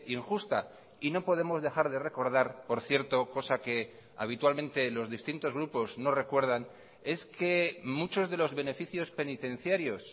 injusta y no podemos dejar de recordar por cierto cosa que habitualmente los distintos grupos no recuerdan es que muchos de los beneficios penitenciarios